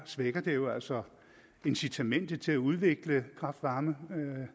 svækker det jo altså incitamentet til at udvikle kraft varme